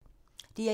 DR1